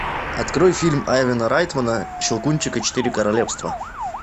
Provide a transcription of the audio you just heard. открой фильм айвена райтмана щелкунчик и четыре королевства